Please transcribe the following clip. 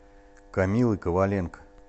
камилы коваленко